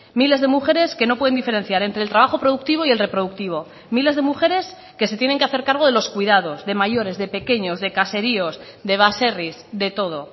miles de mujeres que no pueden diferenciar entre el trabajo productivo y el reproductivo miles de mujeres que se tienen que hacer cargo de los cuidados de mayores de pequeños de caseríos de baserris de todo